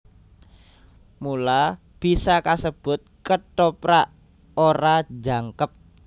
Mula bisa kasebut Kethoprak ora jangkep